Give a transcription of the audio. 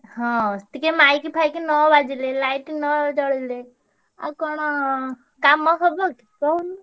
ହଁ ଟିକେ mic ଫାଇକି ନ ବାଜିଲେ light ନ ଜଳିଲେ ଆଉ କଣ କାମ ହବ କି କହୁନୁ।